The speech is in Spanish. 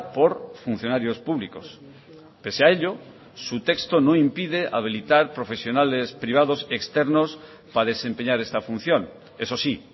por funcionarios públicos pese a ello su texto no impide habilitar profesionales privados externos para desempeñar esta función eso sí